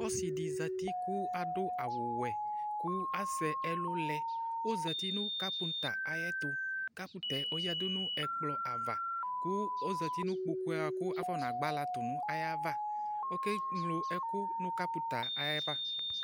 Ɔsɩ zati kʋ adʋ awʋwɛ kʋ asɛ ɛlʋ lɛ Ɔzati nʋ kapʋ̃ta ayɛtʋ Kapʋ̃ta yǝdu nʋ ɛkplɔ ava kʋ ɔzati nʋ kpoku yɛ kʋ afɔnagbalatʋ nʋ ayava Ɔkeŋlo ɛkʋ nʋ kapʋ̃ta yɛ ayava